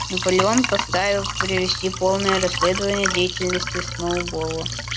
наполеон постановил провести полное расследование деятельности сноуболла